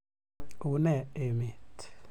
Une emet?